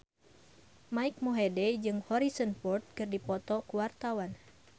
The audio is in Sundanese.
Mike Mohede jeung Harrison Ford keur dipoto ku wartawan